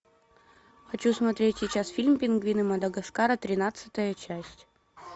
хочу смотреть сейчас фильм пингвины мадагаскара тринадцатая часть